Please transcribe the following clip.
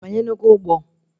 Ị banyenugo ụgbọ?